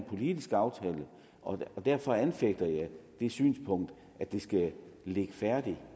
politisk aftale og derfor anfægter jeg det synspunkt at det skal ligge færdigt